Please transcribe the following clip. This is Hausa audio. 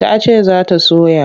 Ta ce za ta soya.